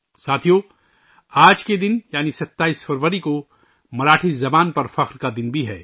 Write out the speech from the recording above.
ساتھیو، آج کے دن یعنی 27 فروری کو مراٹھی زبان کے فخر کا دن بھی ہے